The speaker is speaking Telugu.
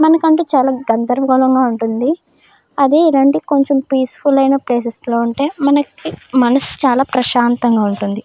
మనకంటే చాలా గందరగోళంగా ఉంటుంది. అది ఇలాంటి కొంచెం పీస్ఫుల్ అయిన ప్లేసెస్ లో ఉంటే మనకి మనసు చాలా ప్రశాంతంగా ఉంటుంది.